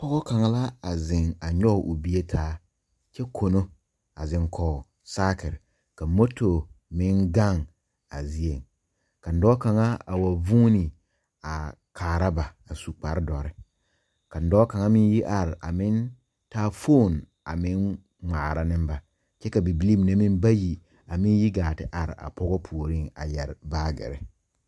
Poge kanga la a zeŋ a nyoge o bie taa kyɛ kono. A zeŋ kɔ saakir ka moto meŋ gaŋ a zie. kaŋ doɔ kanga a wa vuune a kaara ba a su kpar doure. Kaŋ doɔ kanga meŋ yi are a meŋ taa fon a meŋ ŋmaara ne ba. Kyɛ ka bibilii mene meŋ bayi a meŋ yi gaa te are a poge pooreŋ a yɛre baagire